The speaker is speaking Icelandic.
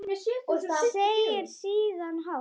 Segir síðan hátt: